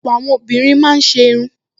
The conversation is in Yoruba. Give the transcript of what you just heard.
Ọ̀pọ̀ àwọn obìnrin máa ń ṣe irun